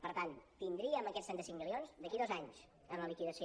per tant tindríem aquests trenta cinc milions d’aquí a dos anys en la liquidació